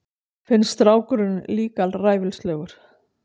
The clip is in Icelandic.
Finnst strákurinn líka ræfilslegur.